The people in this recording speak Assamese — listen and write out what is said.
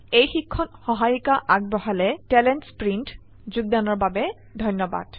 আই আই টী বম্বে ৰ পৰা মই মৌচুমী মেধী এতিয়া আপুনাৰ পৰা বিদায় লৈছো যোগদানৰ বাবে ধন্যবাদ